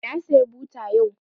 Na saya buta yau